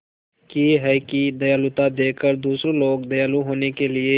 की है कि दयालुता देखकर दूसरे लोग दयालु होने के लिए